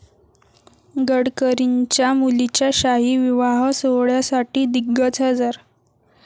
गडकरींच्या मुलीच्या शाही विवाहसोहळ्यासाठी दिग्गज हजर